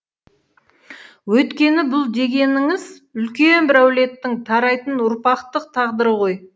өйткені бұл дегеніңіз үлкен бір әулеттің тарайтын ұрпақтық тағдыры ғой